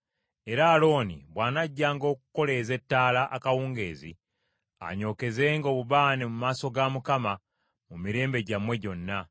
Era Alooni bw’anajjanga okukoleeza ettaala akawungeezi, anyookezenga obubaane mu maaso ga Mukama mu mirembe gyammwe gyonna.